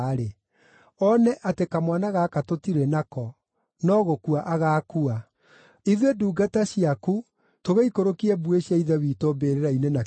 oone atĩ kamwana gaka tũtirĩ nako, no gũkua agaakua. Ithuĩ ndungata ciaku tũgĩikũrũkie mbuĩ cia ithe witũ mbĩrĩra-inĩ na kĩeha.